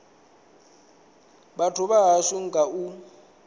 vhathu vha hashu nga u